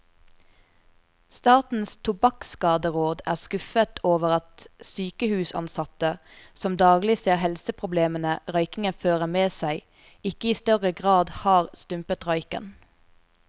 Statens tobakkskaderåd er skuffet over at sykehusansatte, som daglig ser helseproblemene røykingen fører med seg, ikke i større grad har stumpet røyken.